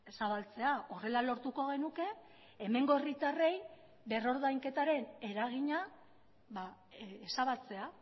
zabaltzea horrela lortuko genuke hemengo herritarrei berrordainketaren eragina ezabatzea